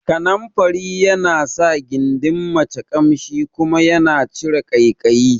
Kananfari yana sa gindin mace Ƙamshi kuma yana cire ƙaikayi